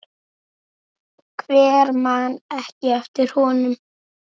Hver man ekki eftir honum?